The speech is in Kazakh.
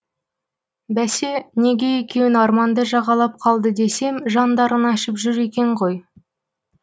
бәсе неге екеуің арманды жағалап қалды десем жандарың ашып жүр екен ғой